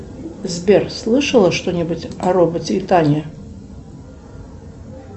сбер слышала что нибудь о роботе итане